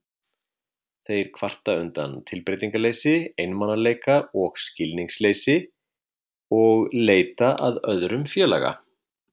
Þeir kvarta undan tilbreytingarleysi, einmanaleika og skilningsleysi og leita að öðrum félaga.